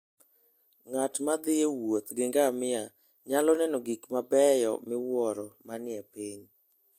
Ng'at ma thi e wuoth gi ngamia nyalo neno gik mabeyo miwuoro manie piny.